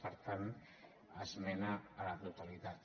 per tant esmena a la totalitat